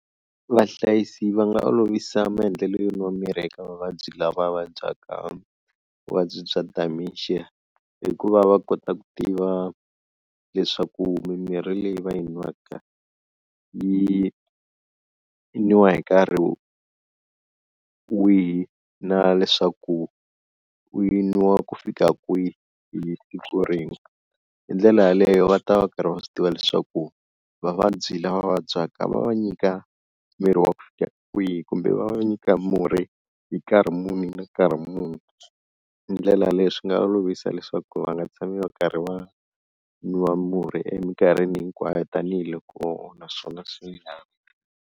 Vahlayisi va nga olovisa maendlelo yo nwa mirhi eka vavabyi lava vabyaka vuvabyi bya dementia hikuva va kota ku tiva leswaku mimirhi leyi va yi nwaka yi nwiwa hi nkarhi wihi na leswaku u yi nwa ku fika kwihi hi siku rin'we, hi ndlela yaleyo va ta va karhi va swi tiva leswaku vavabyi lava vabyaka va va nyika mirhi wa ku fika kwihi kumbe va va nyika murhi hi nkarhi muni na nkarhi muni, hi ndlela yaleyo swi nga olovisa leswaku va nga tshami va karhi va nwa murhi eminkarhini hinkwayo tanihiloko naswona swi .